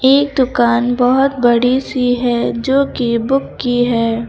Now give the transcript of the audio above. एक दुकान बहुत बड़ी सी है जो कि बुक की है।